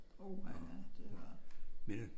Uha ja det var